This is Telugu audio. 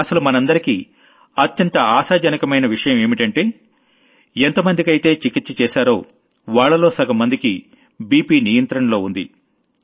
అసలు మనందరికీ అత్యంత ఆశాజనకమైన విషయం ఏంటంటే ఎంతమందికైతే చికిత్స చేశారో వాళ్లలో సగంమందికి బ్లడ్ ప్రెజర్ కంట్రోల్లో ఉంది